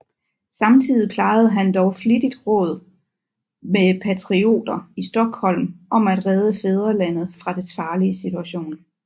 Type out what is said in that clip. Samtidig plejede han dog flittigt råd med patrioter i Stockholm om at redde fædrelandet fra dets farlige situation